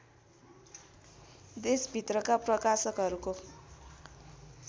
देशभित्रका प्रकाशकहरूको